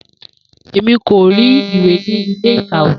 Emi ko ri iwe ni ile-ikawe.